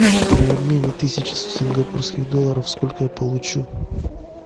при обмене тысячи сингапурских долларов сколько я получу